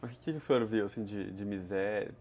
Mas o que o senhor viu de de miséria?